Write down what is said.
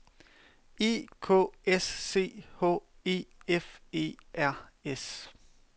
E K S C H E F E R S